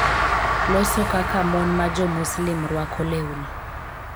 Loso kaka mon ma Jo-Muslim rwako lewni.